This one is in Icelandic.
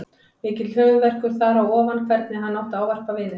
Mikill höfuðverkur þar á ofan hvernig hann átti að ávarpa vininn.